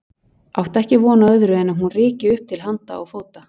Átti ekki von á öðru en að hún ryki upp til handa og fóta.